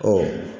Ɔ